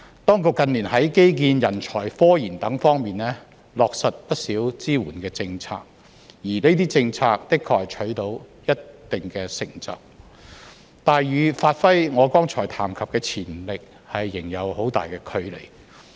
當局近年在基建、人才、科研等方面落實不少支援政策，而這些政策的確取得了一定成就，但與發揮我剛才談及的潛力，仍有很大距離。